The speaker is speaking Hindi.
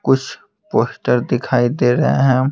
कुछ पोस्टर दिखाई दे रहे हैं।